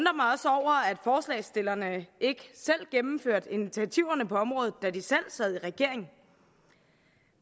forslagsstillerne ikke gennemførte initiativerne på området da de selv sad i regering